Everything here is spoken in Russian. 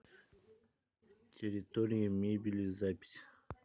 территория мебели запись